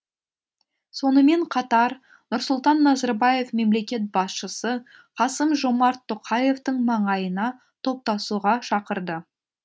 сонымен қатар нұрсұлтан назарбаев мемлекет басшысы қасым жомарт тоқаевтың маңайына топтасуға шақырды